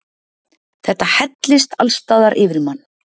Þetta hellist allsstaðar yfir mann.